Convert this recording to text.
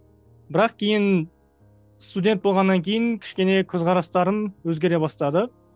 бірақ кейін студент болғаннан кейін кішкене көзқарастарым өзгере бастады